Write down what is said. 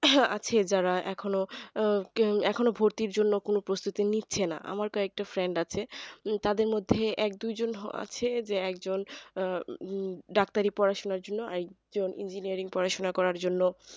হ্যাঁ আছে যারা এখনো এখনো ভর্তির জন্য কোনো প্রস্তুতি নিচ্ছে না আমার কয়েকটা friend আছে তাদের মধ্যে এক দু জন যে একজন আহ ডাক্তারি পড়াশোনার জন্য engineering পড়াশোনার করার জন্য